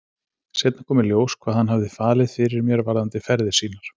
Seinna kom í ljós hvað hann hafði falið fyrir mér varðandi ferðir sínar.